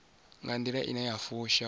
nga nḓila ine ya fusha